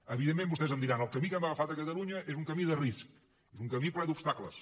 evidentment vostès em diran el camí que hem agafat a catalunya és un camí de risc és un camí ple d’obstacles